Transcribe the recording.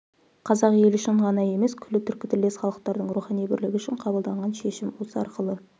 қазақ елі үшін ғана емес күллі түркітілдес халықтардың рухани бірлігі үшін қабылданған шешім осы арқылы